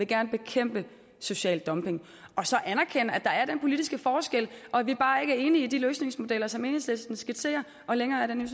gerne vil bekæmpe social dumping og så anerkende at der er den politiske forskel og at vi bare ikke er enige i de løsningsmodeller som enhedslisten skitserer længere er den